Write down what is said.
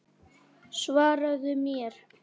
Svaraðu mér!